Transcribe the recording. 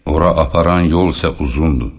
Ora aparan yol isə uzundur.